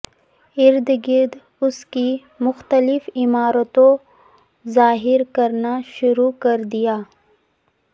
ارد گرد اس کی مختلف عمارتوں ظاہر کرنا شروع کر دیا